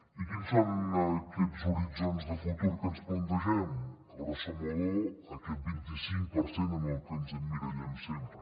i quins són aquests horitzons de futur que ens plantegem grosso modo aquest vint i cinc per cent en el que ens emmirallem sempre